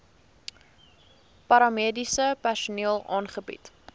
paramediese personeel aangebied